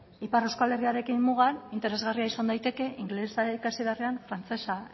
ipar euskal herriarekin mugan interesgarria izan daiteke ingelesa ikasi beharrean frantsesa